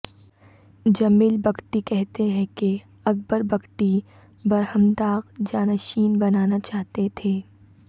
جمیل بگٹی کہتے ہیں کہ اکبر بگٹی برہمداغ جاں نشین بنانا چاہتے تھے